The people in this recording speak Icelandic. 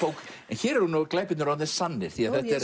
hér eru glæpirnir orðnir sannir